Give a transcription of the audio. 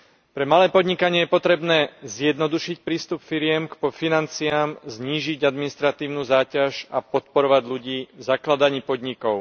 Pre malé podnikanie je potrebné zjednodušiť prístup firiem k financiám, znížiť administratívnu záťaž a podporovať ľudí v zakladaní podnikov.